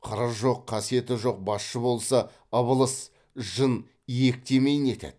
қыры жоқ қасиеті жок басшы болса ыбылыс жын иектемей не етеді